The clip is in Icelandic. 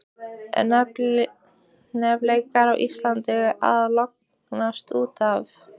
Eru hnefaleikar á Íslandi að lognast út af?